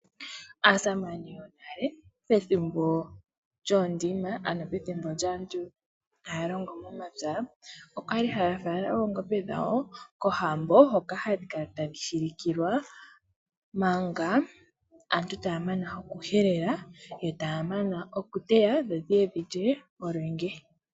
Aasamane yonale pethimbo lyoondima ano pethimbo lyaantu taya longo momapya. Okwali haya fala oongombe dhawo kohambo hoka hadhi kala tadhi shilikilwa manga aantu taya mana oku helela yo taya mana oku teya dho dhi ye dhi lye olwenge.